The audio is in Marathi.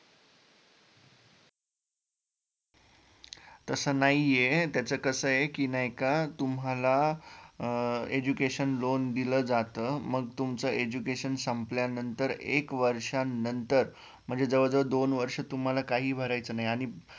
तस नाहीये त्याचं कसय की नाय का तुम्हाला अं education loan दिल जातं मग तुमच Education संपल्यानंतर एक वर्षांनंतर म्हणजे जवजवळ दोन वर्ष तुम्हाला काहीही भरायचे नाही आणि